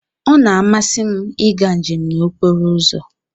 Ọ na-amasị m ịga njem n'okporo ụzọ.